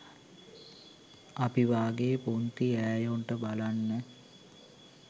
අපි වාගෙ පුංති ඈයොන්ට බලන්ත